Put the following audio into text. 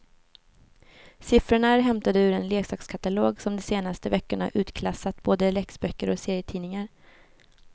Siffrorna är hämtade ur en leksakskatalog som de senaste veckorna utklassat både läxböcker och serietidningar.